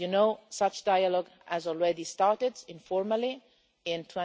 As you know, such dialogue already started informally in